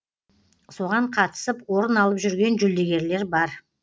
соған қатысып орын алып жүрген жүлдегерлер бар